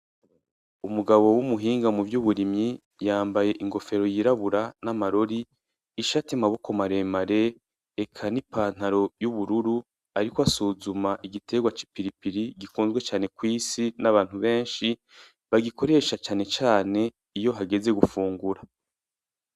Umugabo wumuhinga muvyuburimyi yambaye ingofero yirabura namarori ishati yamaboko maremare eka nipantalo yubururu ariko asuzuma igitegwa cipiripiri gikunzwe cane kw'isi n'abantu benshi bagikoresha cane cane iyohageze gufungura.